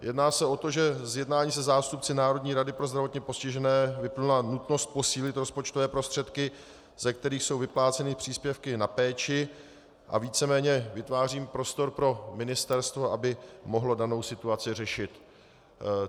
Jedná se o to, že z jednání se zástupci Národní rady pro zdravotně postižené vyplynula nutnost posílit rozpočtové prostředky, ze kterých jsou vypláceny příspěvky na péči, a víceméně vytvářím prostor pro ministerstvo, aby mohlo danou situaci řešit.